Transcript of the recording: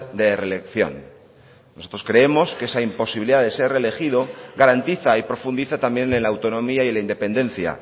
de reelección nosotros creemos que esa imposibilidad de ser reelegido garantiza y profundiza también en la autonomía y la independencia